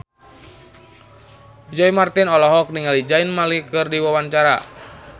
Roy Marten olohok ningali Zayn Malik keur diwawancara